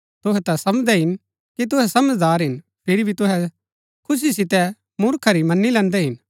तुहै ता समझदै हिन कि तुहै समझदार हिन फिरी भी तुहै खुशी सितै मूर्खा री मनी लैन्दै हिन